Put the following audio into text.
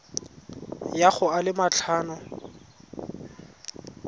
ya go a le matlhano